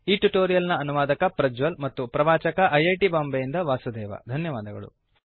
ಈ ಟ್ಯುಟೋರಿಯಲ್ ನ ಅನುವಾದಕ ಪ್ರಜ್ವಲ್ ಮತ್ತು ಪ್ರವಾಚಕ ಐಐಟಿ ಬಾಂಬೆಯಿಂದ ವಾಸುದೇವ ಧನ್ಯವಾದಗಳು